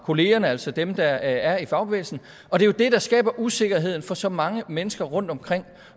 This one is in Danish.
kollegerne altså dem der er i fagbevægelsen og det er det der skaber usikkerheden for så mange mennesker rundtomkring